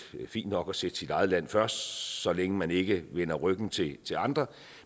fint nok sit eget land først så længe man ikke vender ryggen til til andre